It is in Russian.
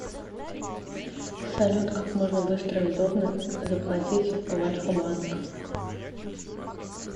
салют как можно быстро и удобно заплатить в альфабанк